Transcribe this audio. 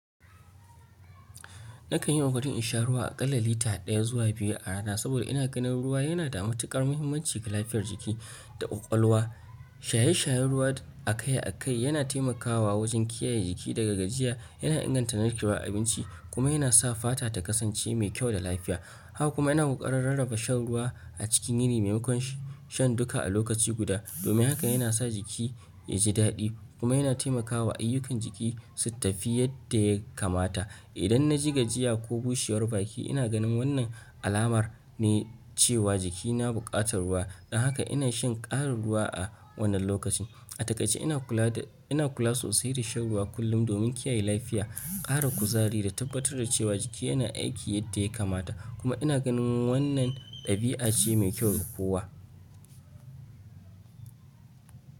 Nakan yi hakuri in sha ruwa akalla lita ɗaya zuwa biyu a rana saboda ina ganin ruwa yana da matuƙar muhimmanci ga lafiyar jiki da ƙwaƙwalwa. Shaye-shayen ruwa akai-akai yana taimakawa wajen kiyaye jiki daga gajiya, yana inganta narkewar abinci kuma yana sa fata ta kasance mai kyau da lafiya. Haka kuma ina ƙoƙarin rarraba shan ruwa a cikin yini maimakon shan duka a lokaci guda. Domin haka yana sa jiki ya ji daɗi kuma yana taimakawa ayyukan jiki su tafi yadda ya kamata. Idan na ji gajiya ko bushewar baki, ina ganin wannan alamar ne cewa jikina buƙatar ruwa, don haka ina shan ƙarin ruwa a wannan lokaci. A takaice ina kula sosai da shan ruwa kullum domin kiyaye lafiya, ƙara kuzari da tabbatar da cewa jiki yana aiki yadda ya kamata. Kuma ina ganin wannan ɗabi'a ce mai kyau ga kowa.